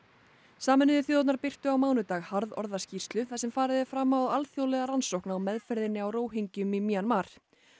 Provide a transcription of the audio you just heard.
sameinuðu þjóðirnar birtu á mánudag harðorða skýrslu þar sem farið er fram á alþjóðlega rannsókn á meðferðinni á Róhingjum í Mjanmar